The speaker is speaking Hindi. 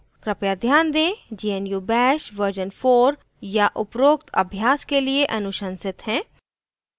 कृपया ध्यान दें gnu bash version 4 या उपरोक्त अभ्यास के लिए अनुशंसित है